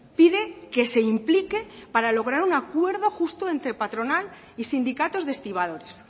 pide que se implique para lograr un acuerdo justo entre patronal y sindicatos de estibadores